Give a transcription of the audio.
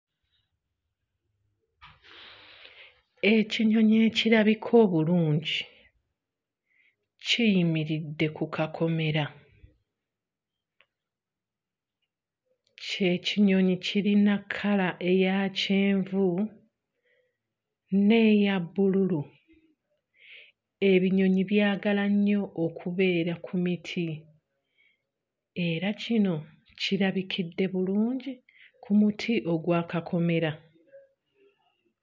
Ekinyonyi ekirabika obulungi kiyimiridde ku kakomera, kye kinyonyi kirina kkala eya kyenvu n'eya bbululu. Ebinyonyi byagala nnyo okubeera ku miti era kino kirabikidde bulungi ku muti ogwa kakomera.